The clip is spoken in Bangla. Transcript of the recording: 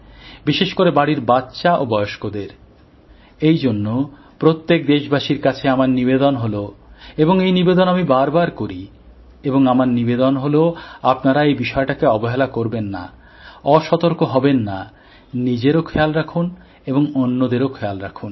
বিশেষ করে বাড়ির বাচ্চা ও বয়স্কদের এই জন্য প্রত্যেক দেশবাসীর কাছে আমার নিবেদন হল এবং এই আবেদন আমি বারবার করি এবং আমার নিবেদন হল আপনারা এই বিষয়টাকে অবহেলা করবেন না অসতর্ক হবেন না নিজেরও খেয়াল রাখুন এবং অন্যদেরও খেয়াল রাখুন